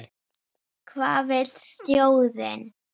Hvað vill þjóðin?